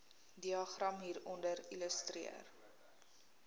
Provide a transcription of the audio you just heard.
diagram hieronder illustreer